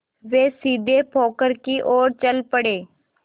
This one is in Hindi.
वे सीधे पोखर की ओर चल पड़े